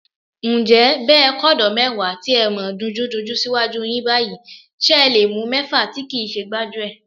Ǹjẹ́ bẹ́ ẹ kọ́dọ̀ọ́ mẹ́wàá tí ẹ mọ̀ dunjúdunjú síwájú yín báyìí, ṣẹ le mú mẹ́fà tí kìí ṣe gbájúẹ̀?